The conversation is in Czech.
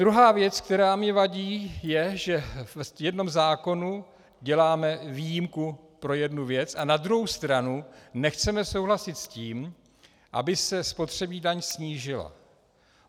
Druhá věc, která mi vadí, je, že v jednom zákonu děláme výjimku pro jednu věc, a na druhou stranu nechceme souhlasit s tím, aby se spotřební daň snížila.